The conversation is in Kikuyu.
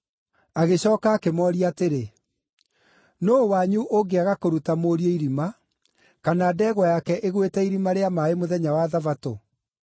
Agĩcooka akĩmooria atĩrĩ, “Nũũ wanyu ũngĩaga kũruta mũriũ irima, kana ndegwa yake ĩgwĩte irima rĩa maaĩ mũthenya wa Thabatũ?”